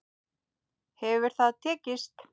Hefur það tekist?